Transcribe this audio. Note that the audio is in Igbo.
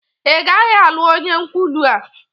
Ị gaghị alụ onye nkwulu a!